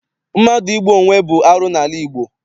Mmadụ igbu onwe bụ arụ n'ala Igbo.